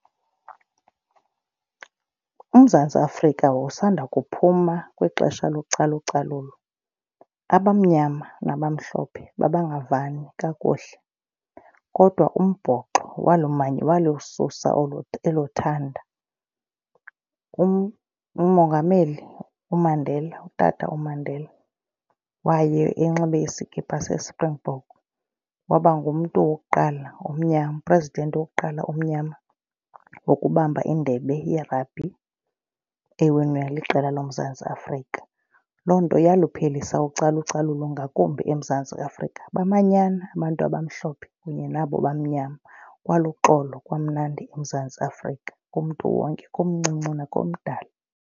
UMzantsi Afrika wawusanda kuphuma kwixesha localucalulo. Abamnyama nabamhlophe babangavani kakuhle kodwa umbhoxo walususa olo elo thanda. Umongameli uMandela, uTata uMandela waye enxibe iskipa seSpringbok waba ngumntu wokuqala omnyama, u-president wokuqala omnyama wokubamba indebe ye-rugby ewinwe liqela loMzantsi Afrika. Loo nto yaliphelisa ucalucalulo ngakumbi eMzantsi Afrika. Bamanyana abantu abamhlophe kunye nabo bamnyama kwaluxolo kwamnandi eMzantsi Afrika kumntu wonke omncinci nakomdala.